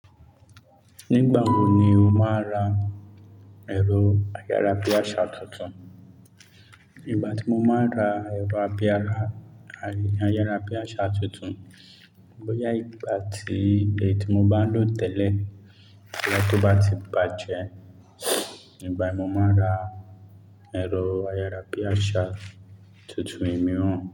Nígbà wo ni o máa ra ẹ̀rọ ayára bí àṣà tutun? Ígbà tí mo máa ra ẹ̀rọ ayára bí àṣà tutun, bóyá ìgbà tí èyí tí mo bá ń lò tẹ́lẹ̀ bóyá tó bá ti bàjẹ́, ígbà ẹ mo máa ra ẹ̀rọ ayára bí àṣà tutun ìmú imiran.